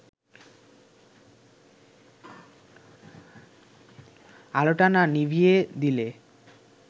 আলোটা না নিভিয়ে দিলে